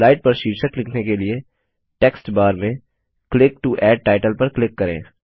slide पर शीर्षक लिखने के लिए टेक्स्टबार में क्लिक टो एड टाइटल पर क्लिक करें